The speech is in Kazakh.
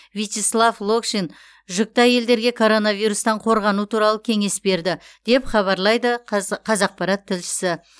вячеслав локшин жүкті әйелдерге коронавирустан қорғану туралы кеңес берді деп хабарлайды қазақпарат тілшісі